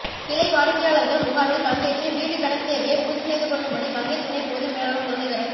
கிளை வாடிக்கையாளர்கள் முகாமில் பங்கேற்று வீட்டு கடன் தேவையை பூர்த்தி செய்து கொள்ளும்படி வங்கி துணை பொது மேலாளர் முரளீதரன்